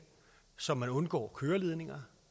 så man undgår køreledninger